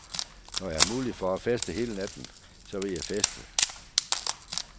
Når jeg har mulighed for at feste hele natten, så vil jeg feste.